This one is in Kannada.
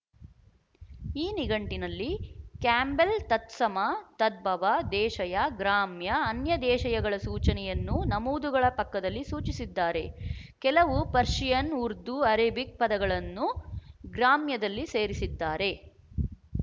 ಈ ನಿಘಂಟಿನಲ್ಲಿ ಕ್ಯಾಂಬೆಲ್ ತತ್ಸಮ ತದ್ಭವ ದೇಶಯ ಗ್ರಾಮ್ಯ ಅನ್ಯದೇಶಯಗಳ ಸೂಚನೆಯನ್ನು ನಮೂದುಗಳ ಪಕ್ಕದಲ್ಲಿ ಸೂಚಿಸಿದ್ದಾರೆ ಕೆಲವು ಪರ್ಶಿಯನ್ ಉರ್ದುಅರೇಬಿಕ್ ಪದಗಳನ್ನು ಗ್ರಾಮ್ಯದಲ್ಲಿ ಸೇರಿಸಿದ್ದಾರೆ